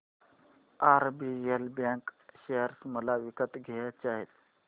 RBL bank share मला विकत घ्यायचे आहेत